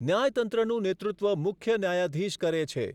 ન્યાયતંત્રનું નેતૃત્વ મુખ્ય ન્યાયાધીશ કરે છે.